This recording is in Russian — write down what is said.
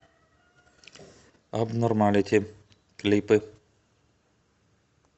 абнормалити клипы